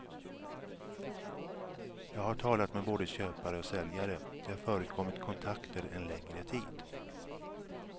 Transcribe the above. Jag har talat med både köpare och säljare, det har förekommit kontakter en längre tid.